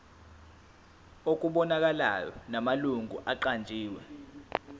okubonakalayo namalungu aqanjiwe